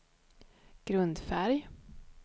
grundfärg